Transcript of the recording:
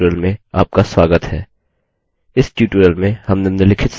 इस tutorial में हम निम्नलिखित सीखेंगे